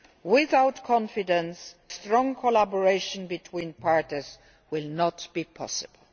Without confidence, strong collaboration between the parties will not be possible.